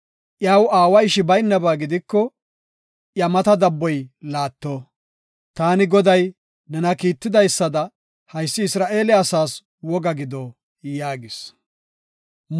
Iyaw aawa ishi baynaba gidiko iya mata dabboy laatto. Taani Goday nena kiitidaysada haysi Isra7eele asaas woga gido’ ” yaagis.